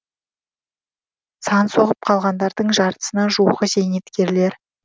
сан соғып қалғандардың жартысына жуығы зейнеткерлер